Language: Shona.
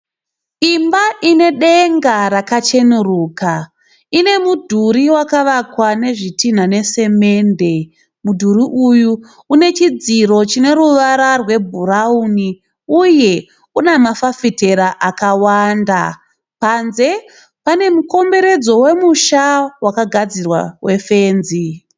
Imba ine denga rakacheneruka. Ine mudhuri wakavakwa nezvitinha nesemende. Mudhuri uyu une chidziro chine ruvara rwebhurawuni uye une mafafitera akawanda. Panze pane mukomberedzo wemusha wakagadzirwa wefenzi.